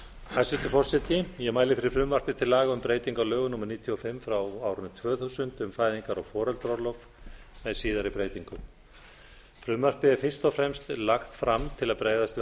hæstvirtur forseti ég mæli fyrir frumvarpi til laga um breytingu á lögum númer níutíu og fimm tvö þúsund um fæðingar og foreldraorlof með síðari breytingum frumvarpið er fyrst og fremst lagt fram til að bregðast við